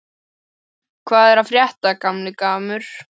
Hvað er að frétta, gamli gammur?